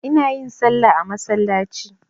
Ina yin salla a masallaci.